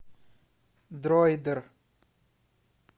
дроидер